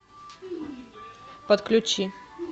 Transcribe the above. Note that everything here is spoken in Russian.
подключи